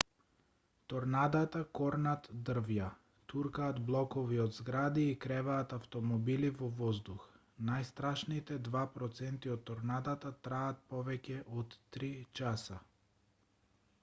торнадата корнат дрвја туркаат блокови од згради и креваат автмобили во воздух најстрашните два проценти од торнадата траат повеќе од три часа